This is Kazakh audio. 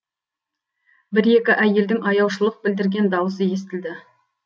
бір екі әйелдің аяушылық білдірген дауысы естілді